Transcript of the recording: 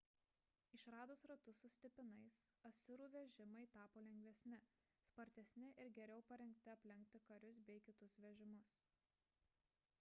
išradus ratus su stipinais asirų vežimai tapo lengvesni spartesni ir geriau parengti aplenkti karius bei kitus vežimus